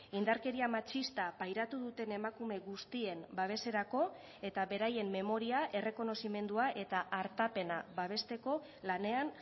indarkeria matxista pairatu duten emakume guztien babeserako eta beraien memoria errekonozimendua eta artapena babesteko lanean